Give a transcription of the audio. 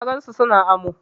Na gan su su na amo.